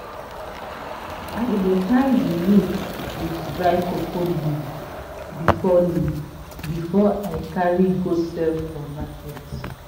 i dey tie the roots with dry cocoa leaf before leaf before i carry go sell for market.